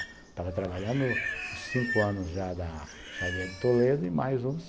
Estava trabalhando uns cinco anos já da chaveira de Toledo e mais uns.